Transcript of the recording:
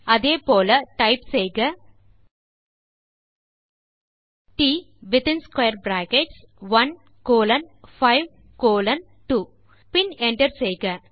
அதே போல டைப் செய்க ட் வித்தின் ஸ்க்வேர் பிராக்கெட்ஸ் 1 கோலோன் 5 கோலோன் 2 பின் என்டர் செய்க